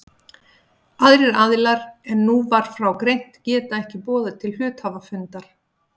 Aðrir aðilar en nú var frá greint geta ekki boðað til hluthafafundar.